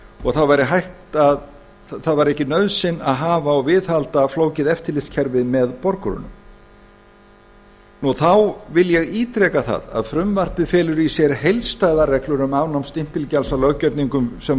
og það væri ekki nauðsyn að hafa og viðhalda flóknu eftirlitskerfi með borgurunum þá vil ég ítreka það að frumvarpið felur í sér heildstæðar reglur um afnám stimpilgjalds á löggerningum sem